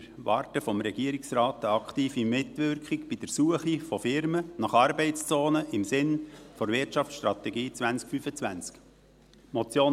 Wir erwarten vom Regierungsrat eine aktive Mitwirkung bei der Suche von Firmen nach Arbeitszonen im Sinne der Wirtschaftsstrategie 2025.